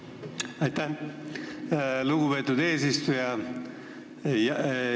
Aitäh, lugupeetud eesistuja!